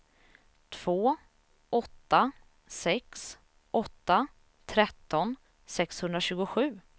två åtta sex åtta tretton sexhundratjugosju